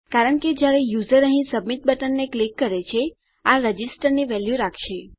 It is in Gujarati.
કારણ કે જયારે યુઝર અહીં સબમિટ બટનને ક્લિક કરે છે આ રજિસ્ટર ની વેલ્યુ રાખશે